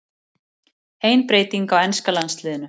Ein breyting á enska landsliðinu